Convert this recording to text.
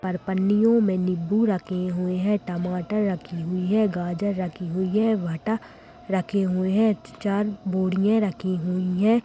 और पन्नियों में नींबू रखे हुए हैं टमाटर रखे हुई हैं गाजर रखी हुई है भाटा रखी हुई है चार बोरियां रखी हुई है।